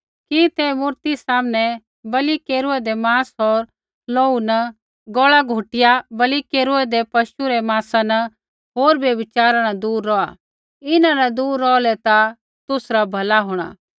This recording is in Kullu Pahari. कि ते मूरती सामनै बलि केरेदै माँस होर लोहू न गौल़ा घुटिया बलि केरूऐदै पशु रै माँसा न होर व्यभिचारा न दूर रौहा इन्हां न दूर रौहलै ता तुसरा भला होंणा